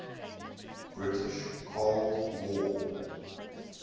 british world war